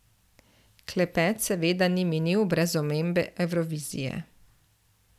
Klepet seveda ni minil brez omembe Evrovizije.